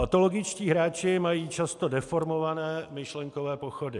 Patologičtí hráči mají často deformované myšlenkové pochody.